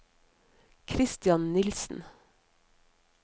Christian Nilssen